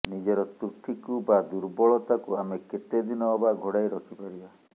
ନିଜର ତ୍ରୁଟିକୁ ବା ଦୁର୍ବଳତାକୁ ଆମେ କେତେଦିନ ଅବା ଘୋଡ଼ାଇ ରଖିପାରିବା